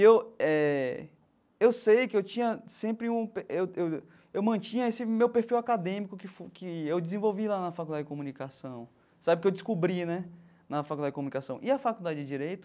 Eu eh eu sei que eu tinha sempre um eu eu eu mantinha esse meu perfil acadêmico que foi que eu desenvolvi lá na Faculdade de Comunicação, sabe, que eu descobri né na Faculdade de Comunicação e a Faculdade de Direito,